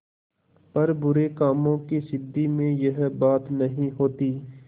पर बुरे कामों की सिद्धि में यह बात नहीं होती